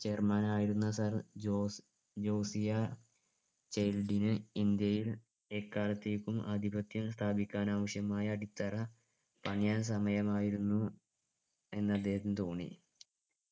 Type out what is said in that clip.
chairman ആയിരുന്ന sir Jose Josiah ചൈൽഡിനെ ഇന്ത്യയിൽ എക്കാലത്തെക്കും ആധിപത്യം സ്ഥാപിക്കാനാവശ്യമായ അടിത്തറ പണിയാൻ സമയമായിരുന്നു എന്ന് അദ്ദേഹത്തിന് തോന്നി